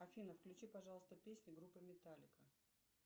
афина включи пожалуйста песни группы металлика